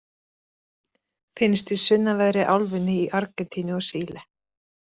Finnst í sunnanverðri álfunni, í Argentínu og Síle.